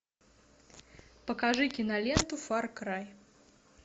покажи киноленту фар край